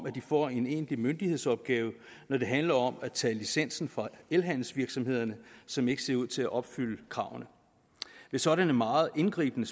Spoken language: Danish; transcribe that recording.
at få en egentlig myndighedsopgave når det handler om at tage licensen fra elhandelsvirksomheder som ikke ser ud til at opfylde kravene ved sådanne meget indgribende